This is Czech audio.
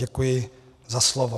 Děkuji za slovo.